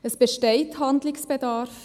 Es besteht Handlungsbedarf.